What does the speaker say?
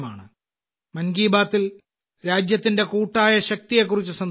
മൻ കി ബാത്തിൽ രാജ്യത്തിന്റെ കൂട്ടായ ശക്തിയെക്കുറിച്ച് സംസാരിക്കുന്നു